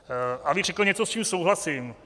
Abych řekl něco, s čím souhlasím.